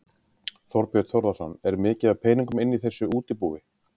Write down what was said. Þorbjörn Þórðarson: Er mikið af peningum inni í þessu útibúi?